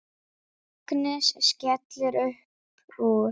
Agnes skellir upp úr.